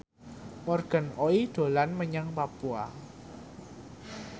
Morgan Oey dolan menyang Papua